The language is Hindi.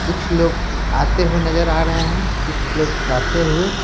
कुछ लोग आते हुए नजर आ रहे हैं कुछ लोग जाते हुए --